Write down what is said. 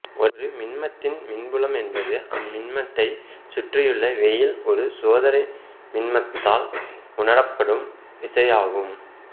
ஒரு மின்மத்தின் மின்புலம் என்பது அம்மின்மத்தைச் சுற்றியுள்ள வெளியில் ஒரு சோதனை மின்மத்தால் உணரப்படும் விசை ஆகும்